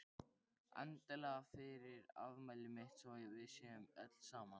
Endilega fyrir afmælið mitt svo að við séum öll saman.